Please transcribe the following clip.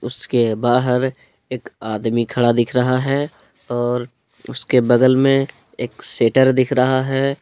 उसके बाहर एक आदमी खड़ा दिख रहा है और उसके बगल में एक शट्टर दिख रहा है।